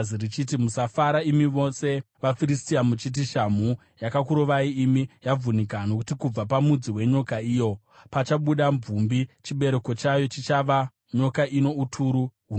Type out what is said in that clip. Musafara imi mose vaFiristia, muchiti shamhu yakakurovai imi, yavhunika; nokuti kubva pamudzi wenyoka iyo pachabuda mvumbi, chibereko chayo chichava nyoka ino uturu hunobaya.